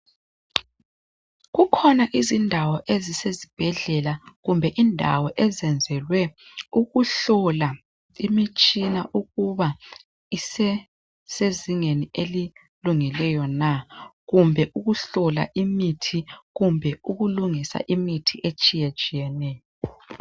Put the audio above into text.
Kukhona izindawo ezisezibhedlela kumbe indawo ezenzelwe ukuhlola imitshina ukuba isesezingeni elilungileyo na kumbe ukuhlola imithi kumbe ukulungisa imithi etshiya tshiyeneyo .